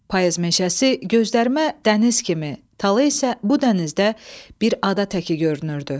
Payız meşəsi gözlərimə dəniz kimi, tala isə bu dənizdə bir ada təki görünürdü.